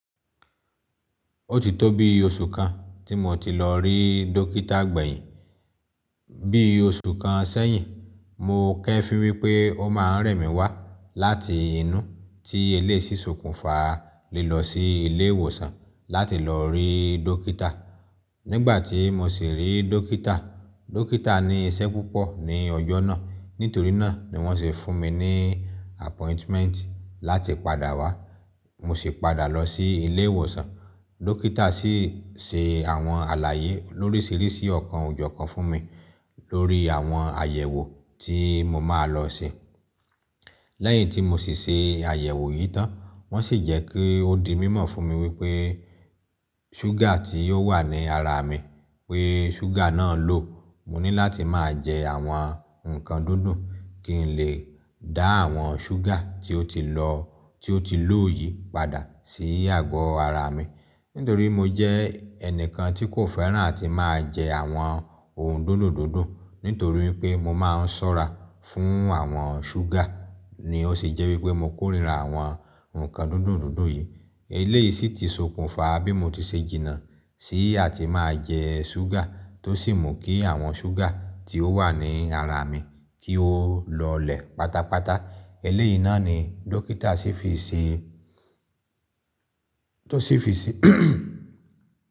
Ó ti tó bi oṣù kan tí mo ti lọ rí dókítà gbẹ̀yìn. Bí oṣù kan sẹ́yìn, mo kẹ́ fí wípẹ́ ó ma rẹ̀mí wá láti inú tí eléyi ṣise okúnfa lilọ sí ilé ìwòsàn láti lọ rí dókítà. Nígbà tí mo sì rí dókítà, dókítà ní iṣẹ́ púpọ̀ ní ọjọ́ náà, nítorí náà ni wọ́n sì fún mi ní appointment láti padà wá. Mo sì padà lọ sí ilé ìwòsàn. Dókítà sì se àwọn àlàyé lóríṣìíríṣìí ọ̀kan òjọ̀kan fún mi lórí àwọn àyẹ̀wò tí mo máa lọ se. Lẹ́yìn tí mo sì se àyẹ̀wò yìí tán, wọ́n sì jẹ́ kí ó di mímọ̀ fún mi wípé ṣúgà tí ó wà ní ara mi, pé ṣúgà náà ló. Mo ní láti máa jẹ àwọn ǹkan dúndùn kí n lè dá àwọn ṣúgà tí ó ti lọ, tí ó ti lów yìí padà sí agbo ara mi. Nítorí mo jẹ́ ẹnìkan tí kò fẹ́ràn tí máa jẹ àwọn ohun dúndùn dúndùn, nítorí pé mo máa ń sọ́ra fún àwọn ṣúgà ni ó sì jẹ́ wípé mo kórìíra àwọn ǹkan dúndùn dúndùn yìí. Eléyìí sì ti sokùnfa bí mo ti ṣe jìnnà sí àti máa jẹ ṣúgà tó sì mú kí àwọn ṣúgà tí ó wà ní ara mi kí ó lọlẹ̀ pátápátá. Eléyìí náà ni dókítà sì fi ṣe, tó sì fi ṣe.